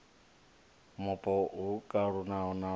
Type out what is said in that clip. mupo ho kalulaho no ḓo